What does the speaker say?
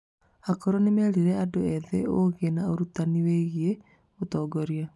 Akũrũ nĩ merire andũ ethĩ ũũgĩ na ũrutani wĩgiĩ ũtongoria.